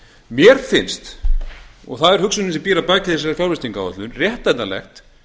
mér finnst og það er hugsunin sem býr að baki þessari fjárfestingaráætlun réttlætanlegt